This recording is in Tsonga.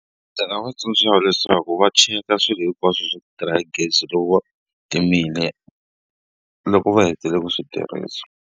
Ndzi nga va tsundzuxa leswaku va cheka swilo hinkwaswo swa ku tirha hi gezi loko va timile, loko va hetile ku swi tirhisa.